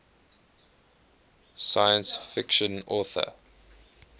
science fiction author